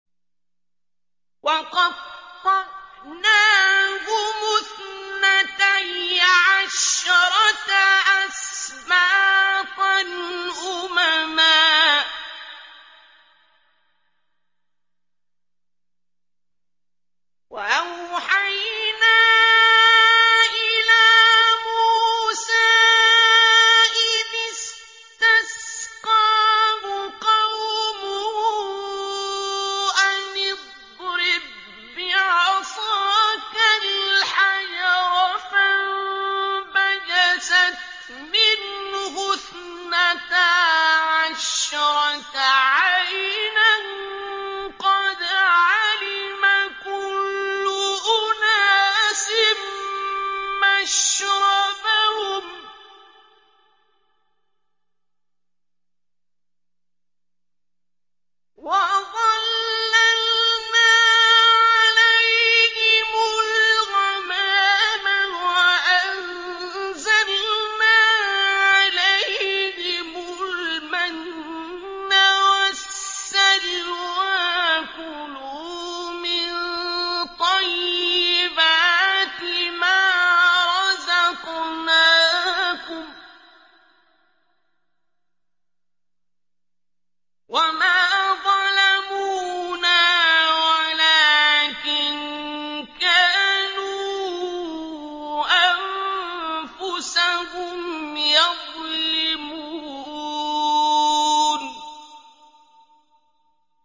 وَقَطَّعْنَاهُمُ اثْنَتَيْ عَشْرَةَ أَسْبَاطًا أُمَمًا ۚ وَأَوْحَيْنَا إِلَىٰ مُوسَىٰ إِذِ اسْتَسْقَاهُ قَوْمُهُ أَنِ اضْرِب بِّعَصَاكَ الْحَجَرَ ۖ فَانبَجَسَتْ مِنْهُ اثْنَتَا عَشْرَةَ عَيْنًا ۖ قَدْ عَلِمَ كُلُّ أُنَاسٍ مَّشْرَبَهُمْ ۚ وَظَلَّلْنَا عَلَيْهِمُ الْغَمَامَ وَأَنزَلْنَا عَلَيْهِمُ الْمَنَّ وَالسَّلْوَىٰ ۖ كُلُوا مِن طَيِّبَاتِ مَا رَزَقْنَاكُمْ ۚ وَمَا ظَلَمُونَا وَلَٰكِن كَانُوا أَنفُسَهُمْ يَظْلِمُونَ